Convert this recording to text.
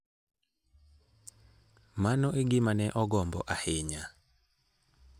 Mano e gima ne ogombo ahinya.